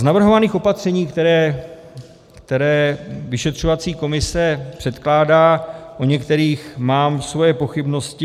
Z navrhovaných opatření, která vyšetřovací komise předkládá, u některých mám své pochybnosti.